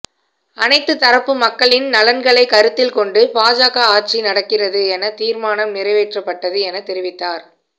அனைத்துத் தரப்பு மக்களின் நலன்களைக் கருத்தில் கொண்டு பாஜக ஆட்சி நடக்கிறது எனத் தீர்மானம் நிறைவேற்றப்பட்டது எனத் தெரிவித்தார்